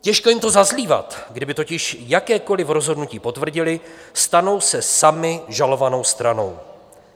Těžko jim to zazlívat, kdyby totiž jakékoliv rozhodnutí potvrdili, stanou se sami žalovanou stranou.